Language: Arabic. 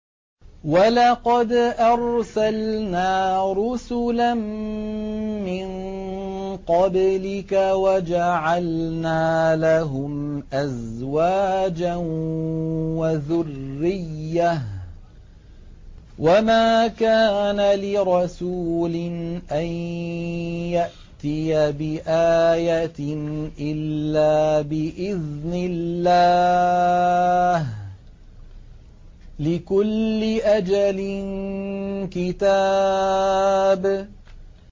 وَلَقَدْ أَرْسَلْنَا رُسُلًا مِّن قَبْلِكَ وَجَعَلْنَا لَهُمْ أَزْوَاجًا وَذُرِّيَّةً ۚ وَمَا كَانَ لِرَسُولٍ أَن يَأْتِيَ بِآيَةٍ إِلَّا بِإِذْنِ اللَّهِ ۗ لِكُلِّ أَجَلٍ كِتَابٌ